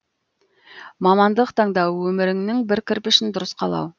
мамандық таңдау өміріңнің бір кірпішін дұрыс қалау